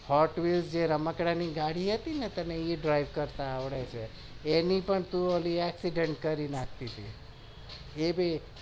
હા જે રમકડાં ની ગાડી છે એ driving કરતા આવડે છે એ ની પણ તું accident કરી નાખતી હતી